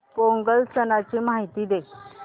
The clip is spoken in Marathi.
पोंगल सणाची माहिती दे